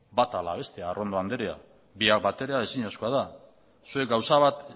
bata ala bestea arrondo andrea biak batera ezinezkoa da zuek gauza bat